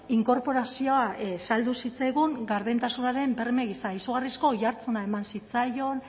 inkorporazioa saldu zitzaigun gardentasunaren berme gisa izugarrizko oihartzuna eman zitzaion